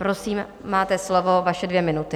Prosím, máte slovo, vaše dvě minuty.